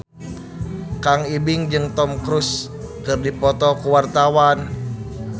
Kang Ibing jeung Tom Cruise keur dipoto ku wartawan